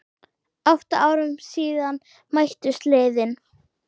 Átta árum síðan mættust liðin.